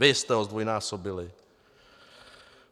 Vy jste ho zdvojnásobili!